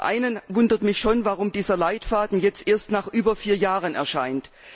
Zum einen wundert mich schon, warum dieser Leitfaden erst nach über vier Jahren erscheint.